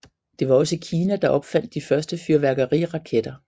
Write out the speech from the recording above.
Det var også Kina der opfandt de første fyrværkeriraketter